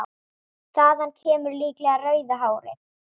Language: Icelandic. Þaðan kemur líklega rauða hárið.